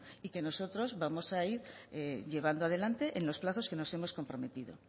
y que nosotros vamos a ir llevando adelante en los plazos que nos hemos comprometido